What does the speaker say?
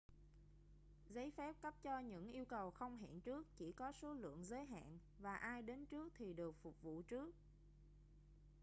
giấy phép cấp cho những yêu cầu không hẹn trước chỉ có số lượng giới hạn và ai đến trước thì được phục vụ trước